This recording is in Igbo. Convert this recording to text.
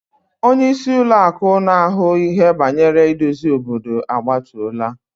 Onye isi Ụlọ akụ na ahu ihe bangere idozi obodo agbatola.